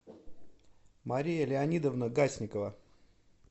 мария леонидовна гасникова